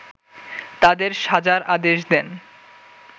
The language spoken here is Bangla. তাদের সাজার আদেশ দেন